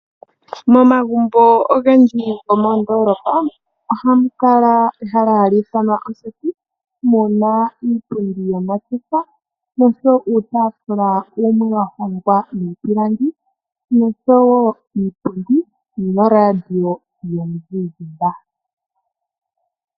Momagumbo ogendji gomoondolapa ohamu kala ehala hali ithanwa oseti, muna iipundi yomasdhofa noshowo uutafula wumwe wa hongwa miipilangi noshowo iipundi, noshowo noradio yomuzizimba.